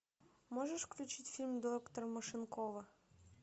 можешь включить фильм доктор машинкова